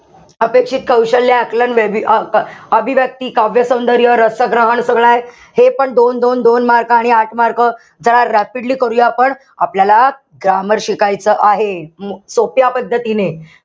अपेक्षित कौशल्य, आकलन आ अभिव्यक्ती, काव्यसौंदर्य, रसग्रहण, सगळं आहे. हेपण दोन-दोन-दोन mark आणि आठ mark. चला rapidly करूया आपण. आपल्याला grammar शिकायचं आहे. सोप्या पद्धतीने.